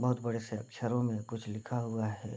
बहोत बड़े से अक्षरों में कुछ लिखा हुआ है।